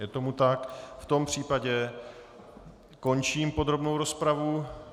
Je tomu tak, v tom případě končím podrobnou rozpravu.